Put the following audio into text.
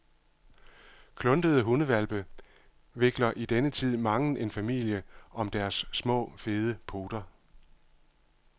Kluntede hundehvalpe vikler i denne tid mangen en familie om deres små, fede poter.